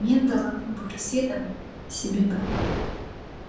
мен даланың бөрісі едім себебі